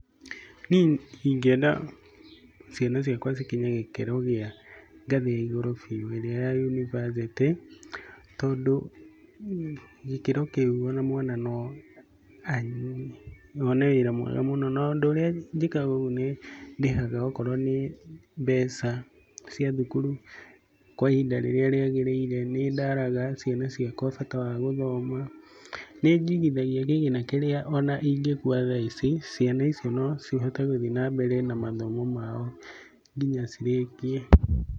Niĩ ingĩenda ciana ciakwa cikinye gĩkĩro gĩa ngathĩ ya igũrũ biũ, irĩa ya yunibacĩtĩ. Tondũ gĩkĩro kĩu ona mwana no athiĩ na one wĩra mwega mũno. no ũndũ urĩa njĩkaga ũguo nĩ ndĩhaga okorwo nĩ mbeca cia thukuru kwa ihinda rĩrĩa rĩagĩrĩire, nĩ ndaraga ciana ciakwa bata wa gũthoma. Nĩ njigithagia kĩgina kĩrĩa ona ingĩkua ta thaa ici, ciana icio no cihote gũthiĩ na mbere na mathomo mao nginya cirĩkie.